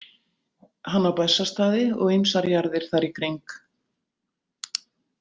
Hann á Bessastaði og ýmsar jarðir þar í kring.